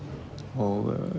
og